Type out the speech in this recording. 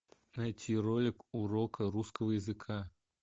найти ролик урока русского языка